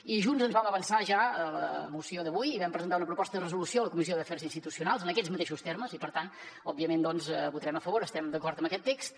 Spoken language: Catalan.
i junts ens vam avançar ja a la moció d’avui i vam presentar una proposta de resolució a la comissió d’afers institucionals en aquests mateixos termes i per tant òbviament hi votarem a favor estem d’acord amb aquest text